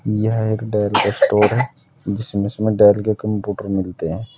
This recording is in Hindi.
यह एक डेल स्टोर है जिसमें इसमें डेल के कंप्यूटर मिलते हैं।